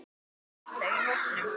Áslaugu í hópnum.